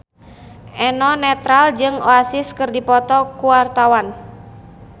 Eno Netral jeung Oasis keur dipoto ku wartawan